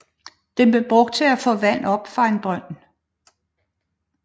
Den blev brugt til at få vand op fra en brønd